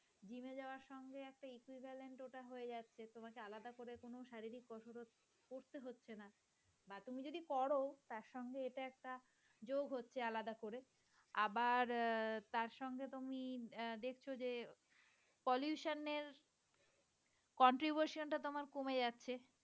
যদি করো তার সঙ্গে এটা একটা যোগ হচ্ছে আলাদা করে। আবার তার সঙ্গে তুমি দেখছো যে pollution এর contribution টা তোমার কমে যাচ্ছে।